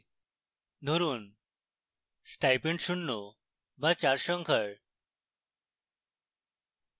ধরুন stipend শূন্য বা চার সংখ্যার